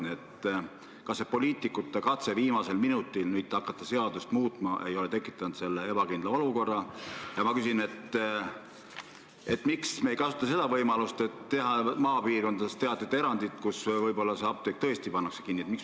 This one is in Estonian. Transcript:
Nii et kas see poliitikute katse viimasel minutil seadust muuta ei ole tekitanud selle ebakindla olukorra ja miks me ei kasuta võimalust teha maapiirkondades teatud erandid, kui tõesti ähvardab oht, et mõni apteek pannakse kinni?